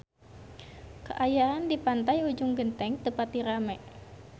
Kaayaan di Pantai Ujung Genteng teu pati rame